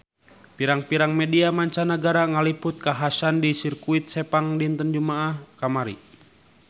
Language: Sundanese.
Pirang-pirang media mancanagara ngaliput kakhasan di Sirkuit Sepang dinten Jumaah kamari